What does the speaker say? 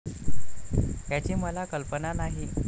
याची मला कल्पना नाही.